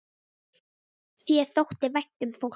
Þér þótti vænt um fólk.